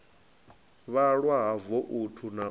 vhalwa ha voutu na u